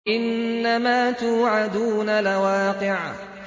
إِنَّمَا تُوعَدُونَ لَوَاقِعٌ